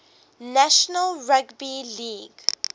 national rugby league